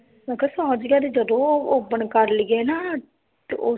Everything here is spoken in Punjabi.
ਮੈ ਕਿਹਾ ਜਦੋ open ਕਰ ਲੀਏ ਨਾ ਤੇ ਓ